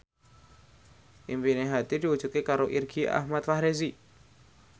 impine Hadi diwujudke karo Irgi Ahmad Fahrezi